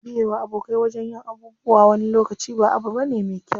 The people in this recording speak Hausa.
Biye wa abokai wajen yin abubuwa wani lokaci ba abu bane me kyau.